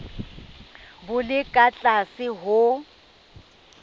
bo le ka tlase ho